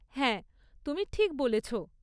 হ্যাঁ, তুমি ঠিক বলেছ।